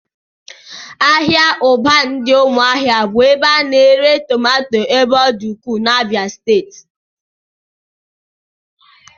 Ahịa Ụbanị dị n'ụmụahia bụ ebe a na-ere tomato ebe ọ dị ukwuu n'Abia steeti